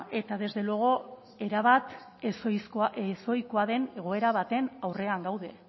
eta desde luego erabat ezohikoa den egoera baten aurrean gaude